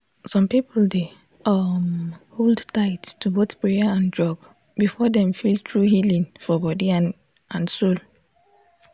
some people dey um hold tight to both prayer and drug before dem feel true healing for body and and soul.